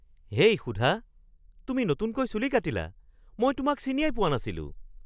হেই সুধা, তুমি নতুনকৈ চুলি কাটিলা! মই তোমাক চিনিয়েই পোৱা নাছিলোঁ!